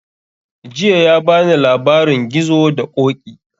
Jiya ya bani labarin gizo da ƙoƙi